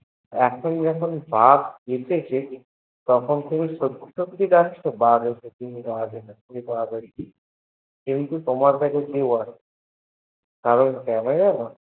এখন যখন বাঘ এসেছে তখন সততই সততই ডাকছ বাঘ এসেছ কিন্তু তোমার কাছ cameraman